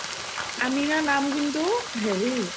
আমিনা নাম কিন্তু হেৰি